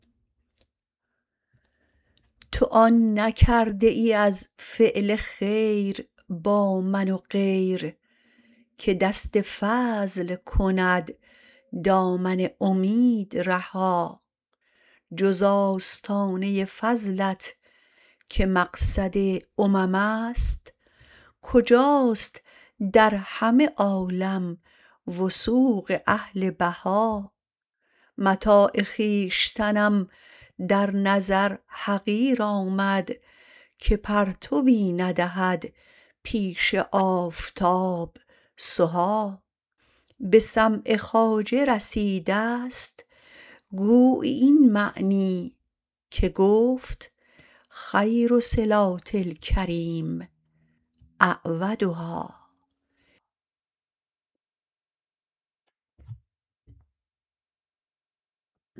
تو آن نکرده ای از فعل خیر با من و غیر که دست فضل کند دامن امید رها جز آستانه فضلت که مقصد اممست کجاست در همه عالم وثوق اهل بها متاع خویشتنم در نظر حقیر آمد که پرتوی ندهد پیش آفتاب سها به سمع خواجه رسیدست گویی این معنی که گفت خیر صلات الکریم أعودها